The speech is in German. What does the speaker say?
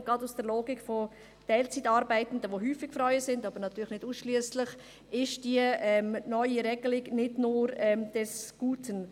Und gerade aus der Logik von Teilzeitarbeitenden, die häufig, aber natürlich nicht ausschliesslich Frauen sind, ist diese neue Regelung nicht nur des Guten.